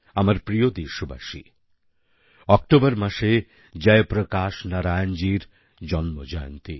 আমার প্রিয় দেশবাসী অক্টোবর মাসে জয়প্রকাশ নারায়ণজীর জন্মজয়ন্তী